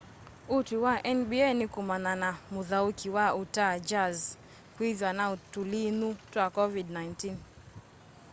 utwi wa nba ní kumana na muthauki wa utah jazz kwithwa na tulinyu twa covid-19